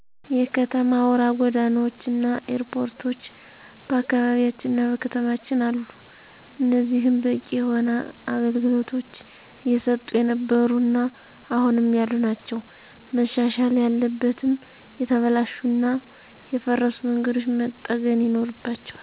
የከተማ አውራ ጎዳናዎች እና ኤርፖርቶች በአካባቢያችንና በከተማችን አሉ። እኒህም በቂ የሆነ አገልግሎቶች እየሰጡ የነበሩ እና አሁንም ያሉ ናቸው። መሻሻል ያለበትም የተበላሹ እና የፈረሱ መንገዶች መጠገን ይኖርባቸዋል።